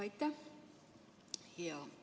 Aitäh!